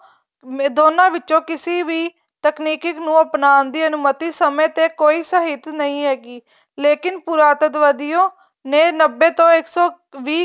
ਦੋਨਾਂ ਵਿਚੋਂ ਕਿਸੇ ਵੀ ਤਕਨੀਕੀ ਨੂੰ ਅਪਣਾ ਦੀ ਅਨੁਮਤੀ ਸਮੇਂ ਤੇ ਕੋਈ ਸਾਹਿਤ ਨਹੀਂ ਹੈਗੀ ਲੇਕਿਨ ਪੁਰਾਤੀਤ੍ਵਾਦੀ ਨੇ ਨੱਬੇ ਤੋ ਇੱਕ ਸੋ ਵੀਹ